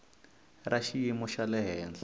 ra xiyimo xa le henhla